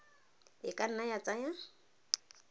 e ka nna ya tsaya